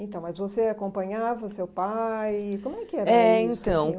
Então, mas você acompanhava o seu pai, como é que era isso? É então